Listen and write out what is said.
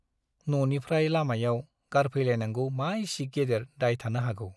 न' निफ्राइ लामायाव गारफैलायनांगौ मा इसि गेदेर दाय थानो हागौ !